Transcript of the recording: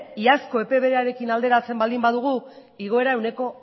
iazko epe berearekin alderatzen baldin badugu igoera ehuneko